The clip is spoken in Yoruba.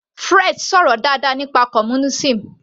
Fred sọ̀rọ̀ dáadáa nípa communism